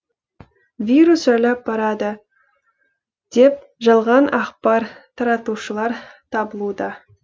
вирус жайлап барады деп жалған ақпар таратушылар табылуда